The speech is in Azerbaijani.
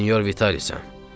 Mən Senyor Vitalisem.